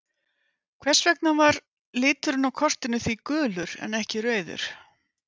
Hvers vegna var liturinn á kortinu því gulur en ekki rauður?